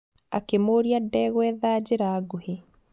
Akĩmũria ndegwetha njĩra nguhĩ.